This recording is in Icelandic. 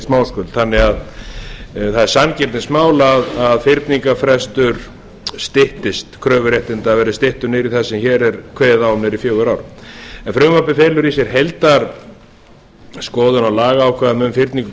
smáskuld þannig að það er sanngirnismál að fyrningarfrestur styttist kröfuréttinda verði styttur niður í það sem hér er kveðið á um niður í fjögur ár en frumvarpið felur í sér heildarskoðun á lagaákvæðum um fyrningu